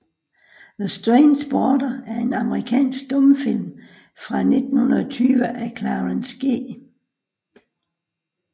The Strange Boarder er en amerikansk stumfilm fra 1920 af Clarence G